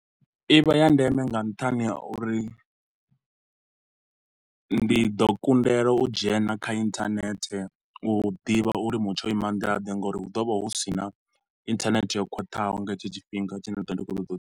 I vha ya ndeme nga nṱhani ha uri ndi ḓo kundelwa u dzhena kha inthanethe u ḓivha uri mutsho wo ima nḓilaḓe nga uri hu ḓo vha hu si na inthanethe yo khwaṱhaho nga hetsho tshifhinga tshine nda do vha ndi khou toḓa u.